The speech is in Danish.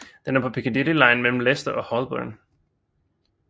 Den er på Piccadilly line mellem Leicester og Holborn